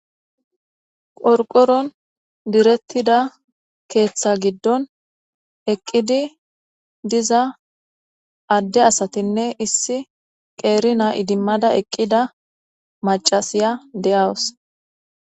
Qorqoron direttida keeththa giddon eqqidi diza adde asatinne issi qeerina idimmada eqqida macasiya de7awus.